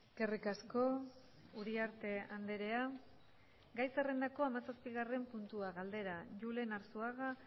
eskerrik asko uriarte andrea gai zerrendako hamazazpigarren puntua galdera julen arzuaga